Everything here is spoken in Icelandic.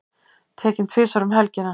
Tekinn tvisvar um helgina